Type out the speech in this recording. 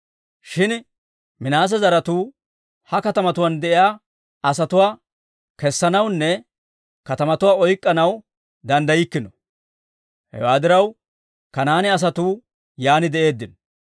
Shin Minaase zaratuu he katamatuwaan de'iyaa asatuwaa kessanawunne katamatuwaa oyk'k'anaw danddayibeykkino. Hewaa diraw Kanaane asatuu yaan de'eeddino.